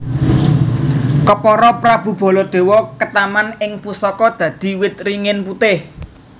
Kepara Prabu Baladewa ketaman ing pusaka dadi wit ringin putih